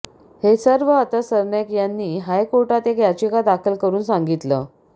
हे सर्व आता सरनाईक यांनी हायकोर्टात एक याचिका दाखल करुन सांगितलं